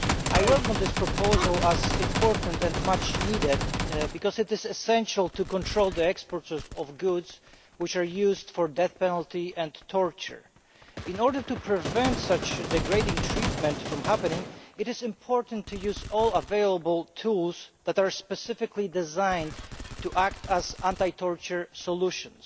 I welcome this proposal as important and much needed because it is essential to control the export of goods which are used for the death penalty and torture. In order to prevent such degrading treatment from happening, it is important to use all available tools that are specifically designed to act as anti-torture solutions.